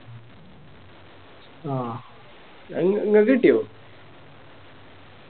ആ അത് ഇങ്ങക്ക് കിട്ടിയോ